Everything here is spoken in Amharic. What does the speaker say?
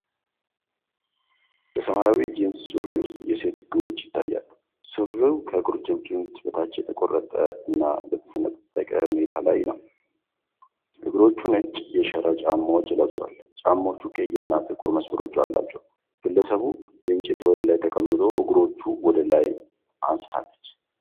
በሰማያዊ ጂንስ ሱሪ ውስጥ የሴት እግሮች ይታያሉ። ሱሪው ከቁርጭምጭሚት በታች በተቆራረጠ እና በተሰነጠቀ ሁኔታ ላይ ነው። እግሮቹ ነጭ የሸራ ጫማዎችን ለብሰዋል፤ ጫማዎቹ ቀይና ጥቁር መስመሮች አሏቸው። ግለሰቡ በእንጨት ወለል ላይ ተቀምጦ እግሮቿን ወደ ላይ አንስታለች።